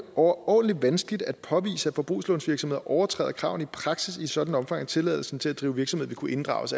overordentlig vanskeligt at påvise at forbrugslånsvirksomheder overtræder kravene i praksis i et sådant omfang at tilladelsen til at drive virksomhed vil kunne inddrages